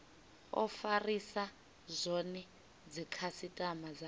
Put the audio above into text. o farisa zwone dzikhasitama dzayo